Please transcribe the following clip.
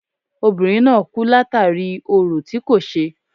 Obìnrin náà kú látàri orò tí kò ṣe.